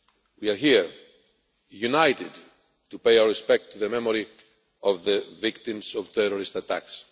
We are here, united, to pay our respects to the memory of the victims of terrorist attacks.